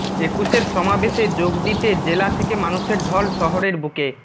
একুশের সমাবেশে যোগ দিতে জেলা থেকে মানুষের ঢল শহরের বুকে